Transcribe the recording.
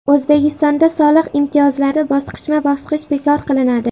O‘zbekistonda soliq imtiyozlari bosqichma-bosqich bekor qilinadi.